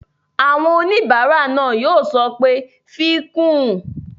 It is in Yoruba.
Àwọn oníbàárà náà yóò sọ pé "fi kún un!"